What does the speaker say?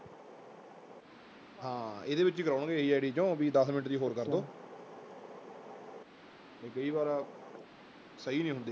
ਹਾਂ ਇਹਦੇ ਵਿੱਚ ਹੀ ਲਾਉਣਗੇ ਇਹੀ ID ਚੋਂ ਵੀ ਦਸ ਮਿੰਟ ਦੀ ਹੋਰ ਕਰ ਦਓ ਵੀ ਕਈ ਵਾਰ ਸਹੀ ਨਹੀਂ ਹੁੰਦੀ